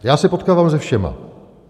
Já se potkávám se všemi.